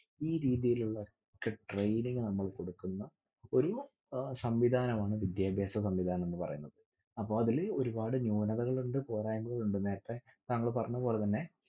ഈരീതിയിലുള്ള training നമ്മൾ കൊടുക്കുന്ന ഒരു അഹ് സംവിധാനമാണ് വിദ്യാഭ്യാസ സംവിധാനം എന്ന്പറയുന്നത്. അപ്പൊ അതില് ഒരുപാട് ന്യുനതകൾ ഉണ്ട് പോരായ്‌മകൾ ഉണ്ട്. നേരത്തെ താങ്ങൾ പറഞ്ഞതുപോലെതന്നെ